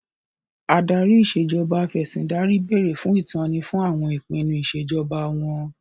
Adarí Ìṣèjọba Af'ẹ̀sìndarí béèrè fún ìtọ́ni fún àwọn ìpinnu Ìṣèjọba wọn